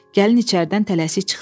Gəlin içəridən tələsik çıxdı.